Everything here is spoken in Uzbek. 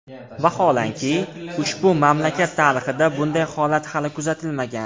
Vaholanki, ushbu mamlakat tarixida bunday holat hali kuzatilmagan.